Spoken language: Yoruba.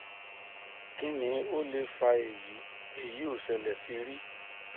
kini o le fa eyi eyi o sele si ri